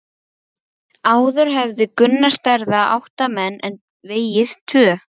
Ástheiður, bókaðu hring í golf á mánudaginn.